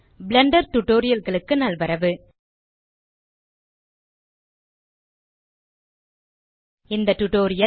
Blender Tutorialகளுக்கு நல்வரவு இந்த டியூட்டோரியல்